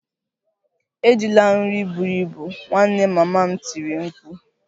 Ejila nri buru ibu! Ị nwanne mama m tiri m mkpu